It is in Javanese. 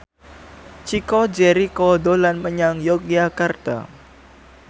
Chico Jericho dolan menyang Yogyakarta